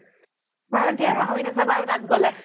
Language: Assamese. বাৰু দিয়া পাহৰি নাজাবা আৰু তাত গ্'লে